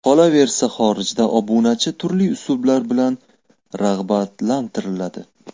Qolaversa, xorijda obunachi turli uslublar bilan rag‘batlantiriladi.